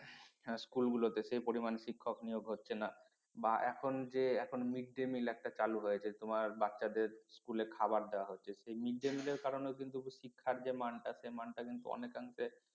school গুলোতে সেই পরিমাণ শিক্ষক নিয়োগ হচ্ছে না বা এখন যে এখন mid day meal একটা চালু হয়েছে তোমার বাচ্চাদের স্কুলে খাবার দেওয়া হচ্ছে সেই mid day meal এর কারণে কিন্তু শিক্ষার যে মান টা সেই মান টা কিন্তু অনেকাংশে